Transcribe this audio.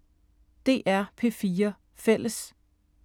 DR P4 Fælles